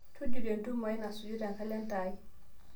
tujuto entiumo aai nasuju te kalenda aai